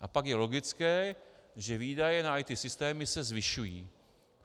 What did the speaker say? A pak je logické, že výdaje na IT systémy se zvyšují.